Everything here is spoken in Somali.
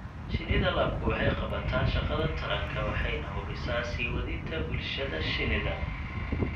Shinnida labku waxay qabataa shaqada taranka waxayna hubisaa sii wadida bulshada shinnida.